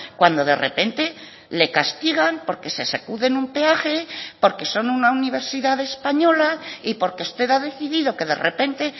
cuando de repente le castigan porque se sacuden un peaje porque son una universidad española y porque usted ha decidido que de repente